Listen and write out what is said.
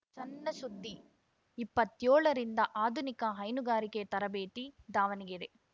ಸಣ್‌ಸುದ್ದಿ ಇಪ್ಪತ್ತೇಳ ರಿಂದ ಆಧುನಿಕ ಹೈನುಗಾರಿಕೆ ತರಬೇತಿ ದಾವಣಗೆರೆ